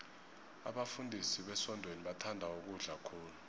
abafundisi besontweni bathanda ukudla khulu